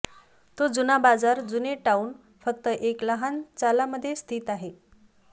तो जुना बाजार जुने टाउन फक्त एक लहान चाला मध्ये स्थित आहे